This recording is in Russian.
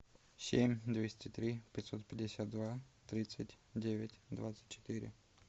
семь двести три пятьсот пятьдесят два тридцать девять двадцать четыре